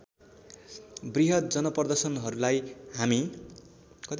वृहद् जनप्रदर्शनहरूलाई हामी